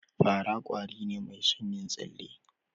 Fa ra kwari ne mai son yin tsale